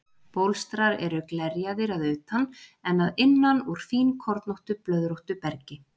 Bólstrar eru glerjaðir að utan en að innan úr fínkornóttu, blöðróttu bergi.